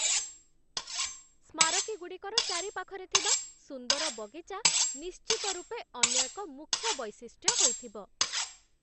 ସ୍ମାରକୀଗୁଡ଼ିକର ଚାରିପାଖରେ ଥିବା ସୁନ୍ଦର ବଗିଚା ନିଶ୍ଚିତ ରୂପେ ଅନ୍ୟ ଏକ ମୁଖ୍ୟ ବୈଶିଷ୍ଟ୍ୟ ହୋଇଥିବ।